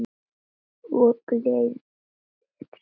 Hún glennir sig.